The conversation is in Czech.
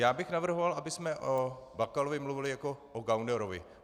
Já bych navrhoval, abychom o Bakalovi mluvili jako o gaunerovi.